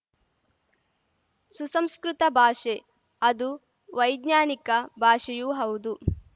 ಸುಸಂಸ್ಕೃತ ಭಾಷೆ ಅದು ವೈಜ್ಞಾನಿಕ ಭಾಷೆಯೂ ಹೌದು